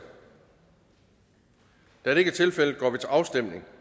da det ikke er tilfældet går vi til afstemning